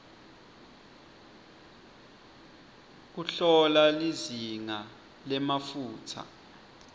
kuhlola lizinga lemafutsa